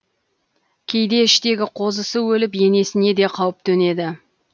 кейде іштегі қозысы өліп енесіне де қауіп төнеді